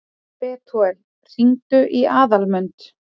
Betúel, hringdu í Aðalmund.